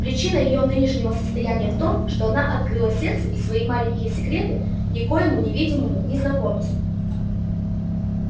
причина её нынешнего состояния в том что она открыла сердце и свои маленькие секреты некоему невидимому незнакомцу